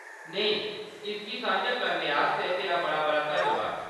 नेईं, इसगी सांझा करने आस्तै तेरा बड़ा-बड़ा धन्नबाद।